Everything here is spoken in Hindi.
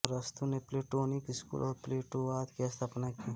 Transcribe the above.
अरस्तु ने प्लेटोनिक स्कूल और प्लेटोवाद की स्थापना की